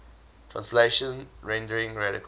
translation rendering radical